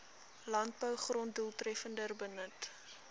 landbougrond doeltreffender benut